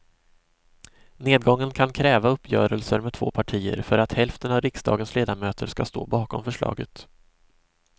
Nedgången kan kräva uppgörelser med två partier för att hälften av riksdagens ledamöter ska stå bakom förslaget.